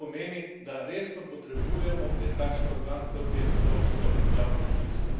To pomeni, da resno potrebujemo en takšen organ, kot je evropsko javno tožilstvo.